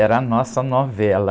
Era a nossa novela.